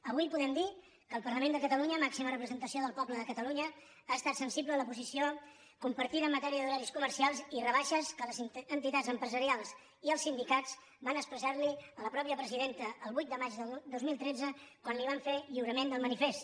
avui podem dir que el parlament de catalunya màxima representació del poble de catalunya ha estat sensible a la posició compartida en matèria d’horaris comercials i rebaixes que els entitats empresarials i els sindicats van expressar a la mateixa presidenta el vuit de maig del dos mil tretze quan li van fer lliurament del manifest